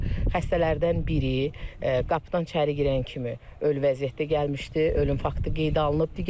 Xəstələrdən biri qapıdan içəri girən kimi ölü vəziyyətdə gəlmişdi, ölüm faktı qeydə alınıb.